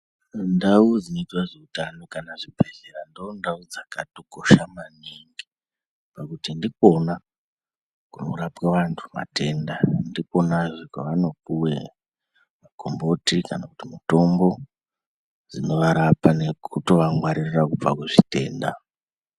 Nndau dzinoitwa zveutano kana zvibhedhlera ndondau dzakatokosha maningi pakuti ndikonwa kunorapwe vantu matenda ndikwonazve kwavanopuwe magomboti kana kuti mitombo dzinovarapa nekutovangwaririra kubva kuzvitenda.